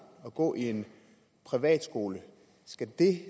at gå i en privatskole skal det